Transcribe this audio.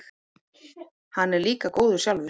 Hann er líka góður sjálfur.